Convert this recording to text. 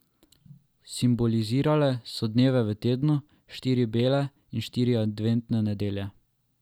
Simbolizirale so dneve v tednu, štiri bele in štiri adventne nedelje.